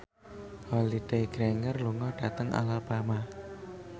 Holliday Grainger lunga dhateng Alabama